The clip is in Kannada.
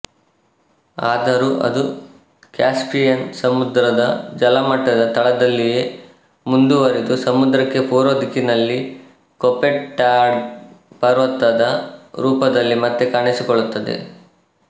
ಆದರೂ ಅದು ಕ್ಯಾಸ್ಪಿಯನ್ ಸಮುದ್ರದ ಜಲಮಟ್ಟದ ತಳದಲ್ಲಿಯೇ ಮುಂದುವರಿದು ಸಮುದ್ರಕ್ಕೆ ಪೂರ್ವದಿಕ್ಕಿನಲ್ಲಿ ಕೋಪೆಟ್ಡಾಘ್ ಪರ್ವತದ ರೂಪದಲ್ಲಿ ಮತ್ತೆ ಕಾಣಿಸಿಕೊಳ್ಳುತ್ತದೆ